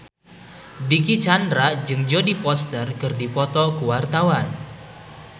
Dicky Chandra jeung Jodie Foster keur dipoto ku wartawan